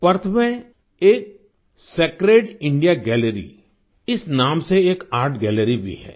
Perth में एक sacred India gallery इस नाम से एक आर्ट गैलरी भी है